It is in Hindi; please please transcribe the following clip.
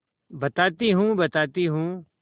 बताती हूँ बताती हूँ